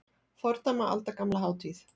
Fordæma aldagamla hátíð